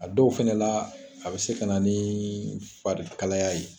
A dɔw fɛnɛ la, a be se ka na ni fari kalaya ye.